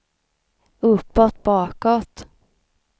uppåt bakåt